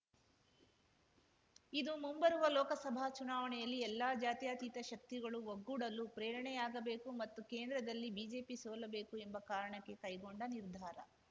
ಇದು ಮುಂಬರುವ ಲೋಕಸಭಾ ಚುನಾವಣೆಯಲ್ಲಿ ಎಲ್ಲಾ ಜಾತ್ಯತೀತ ಶಕ್ತಿಗಳು ಒಗ್ಗೂಡಲು ಪ್ರೇರಣೆಯಾಗಬೇಕು ಮತ್ತು ಕೇಂದ್ರದಲ್ಲಿ ಬಿಜೆಪಿ ಸೋಲಬೇಕು ಎಂಬ ಕಾರಣಕ್ಕೆ ಕೈಗೊಂಡ ನಿರ್ಧಾರ